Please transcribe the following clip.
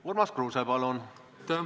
Urmas Kruuse, palun!